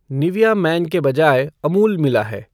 Nivea men के बजाय अमूल मिला है